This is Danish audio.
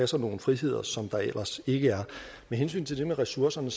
sig nogle friheder som der ellers ikke er med hensyn til det med ressourcerne